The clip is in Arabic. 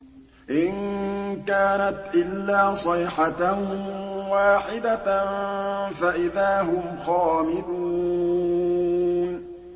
إِن كَانَتْ إِلَّا صَيْحَةً وَاحِدَةً فَإِذَا هُمْ خَامِدُونَ